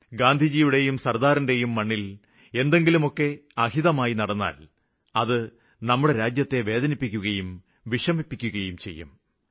ഗാന്ധിയുടെയും സര്ദാറിന്റെയും ഭൂമിയില് എന്തെങ്കിലുമൊക്കെ നടന്നാല് നമ്മുടെ നാടിനെ വേദനിപ്പിക്കുകയും വിഷമിപ്പിക്കുകയും ചെയ്യും